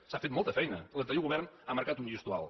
s’ha fet molta feina l’anterior govern ha marcat un llistó alt